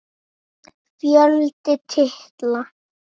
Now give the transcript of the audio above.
Fjöldi titla